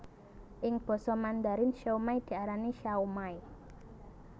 Ing basa Mandarin siomai diarani shaomai